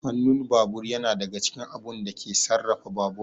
Hanun babur yana daga cikin abun da yake sarrafa babur